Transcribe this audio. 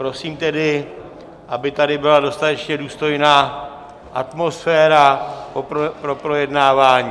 Prosím tedy, aby tady byla dostatečně důstojná atmosféra pro projednávání.